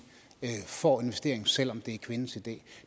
får investeringen selv om det er kvindens idé